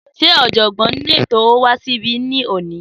Sé òjògbọ́n nínú ètò owó wá sí ibí ní òní?